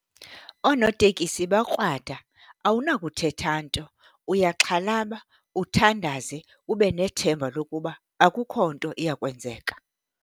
Oonotekisi bakrwada, awunakuthetha nto. Uyaxhalaba uthandaze, ube nethemba lokuba akukho nto iyawukwenzeka.